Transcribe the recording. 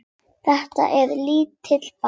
Þetta er lítill bær.